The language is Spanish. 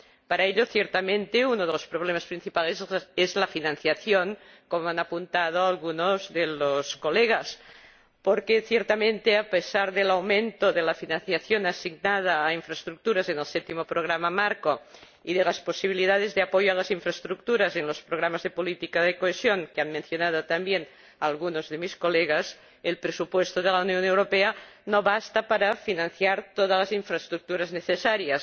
Para ello, ciertamente, uno de los problemas principales es la financiación, como han apuntado algunos de los colegas, porque a pesar del aumento de la financiación asignada a infraestructuras en el Séptimo Programa Marco y de las posibilidades de apoyo a las infraestructuras en los programas de política de cohesión, que han mencionado también algunos de mis colegas, el presupuesto de la Unión Europea no basta para financiar todas las infraestructuras necesarias.